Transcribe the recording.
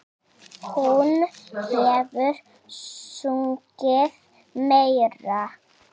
Hún hefur sungið meira.